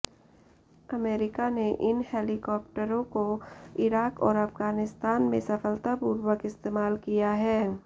America ने इन हेलीकॉप्टरों का इराक और अफगानिस्तान में सफलतापूर्वक इस्तेमाल किया है